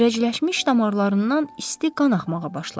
Kirəcləşmiş damarlarından isti qan axmağa başladı.